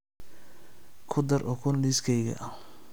ku dar ukun liiskayga